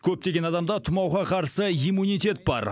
көптеген адамда тұмауға қарсы иммунитет бар